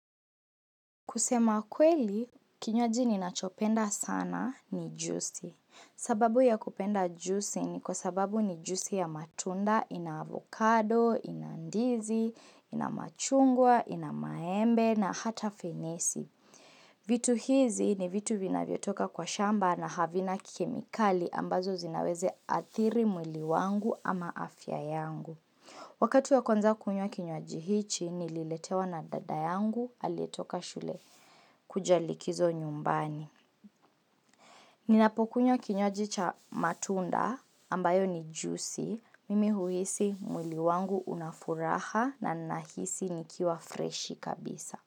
Kusema kweli, kinywaji ni nachopenda sana ni jusi. Sababu ya kupenda juisi ni kwa sababu ni jusi ya matunda, ina avocado, ina ndizi, ina machungwa, ina maembe na hata fenesi. Vitu hizi ni vitu vina vio toka kwa shamba na havina kemikali ambazo zinaweze athiri mwili wangu ama afya yangu. Wakati wa kwaza kuywa kinywaji hichi, nililetewa na dada yangu aletoka shule. Kujalikizo nyumbani. Ninapokunywa kinywaji hicho matunda ambayo ni juicy. Mimi huisi mwili wangu unafuraha na nahisi nikiwa fresh kabisa.